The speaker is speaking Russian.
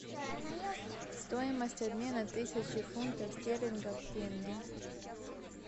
стоимость обмена тысячи фунтов стерлингов в тенге